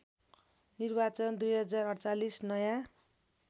निर्वाचन २०४८ नयाँ